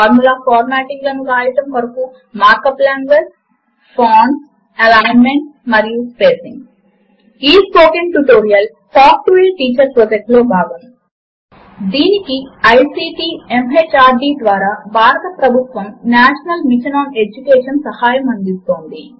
మాత్ కొరకు సిస్టమ్ లో కావలసినవి మరియు దాని వినియోగమునకు ముందుగా ఉండవలసినవి ఫార్ములా ఎడిటర్ ను వాడుతూ ఒక తేలికైన ఫార్ములాను వ్రాయడము ఈ spoken tutorial talk to a teacher project లో భాగము దీనికి ఐసీటీ ఎంహార్డీ ద్వారా భారత ప్రభుత్వ నేషనల్ మిషన్ ఆన్ ఎడ్యుకేషన్ సహాయం అందిస్తోంది